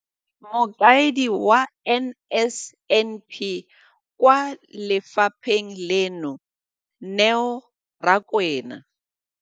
Mokaedi wa NSNP kwa lefapheng leno, Neo Rakwena.